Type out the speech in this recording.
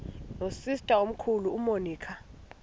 nosister omkhulu umonica